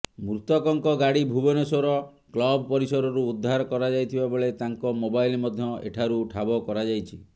ମୃତକଙ୍କ ଗାଡ଼ି ଭୁବନେଶ୍ବର କ୍ଲବ ପରିସରରୁ ଉଦ୍ଧାର କରାଯାଇଥିବା ବେଳେ ତାଙ୍କ ମୋବାଇଲ ମଧ୍ୟ ଏଠାରୁ ଠାବ କରାଯାଇଛି